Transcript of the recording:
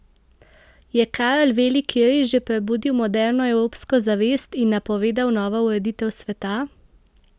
Je Karel Veliki res že prebudil moderno evropsko zavest in napovedal novo ureditev sveta?